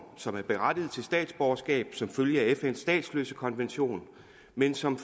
som er berettiget til statsborgerskab som følge af fns statsløsekonvention men som